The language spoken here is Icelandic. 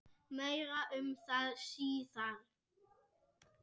Meir um það síðar.